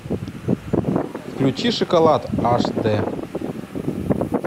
включи шоколад аш дэ